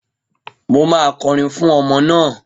Mo máa kọrin fún ọmọ naa